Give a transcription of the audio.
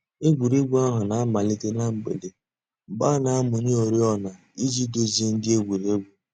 Ègwè́ré́gwụ̀ àhụ̀ nà-àmàlítè nà mgbèdè, mgbè a nà-àmụ̀nyè òrìọ̀nà íjì dùzìe ńdí ègwè́ré́gwụ̀.